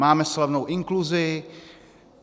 Máme slavnou inkluzi.